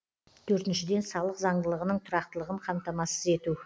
төртіншіден салық заңдылығының тұрақтылығын қамтамасыз ету